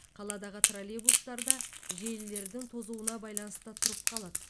қаладағы троллейбустар да желілердің тозуына байланысты тұрып қалады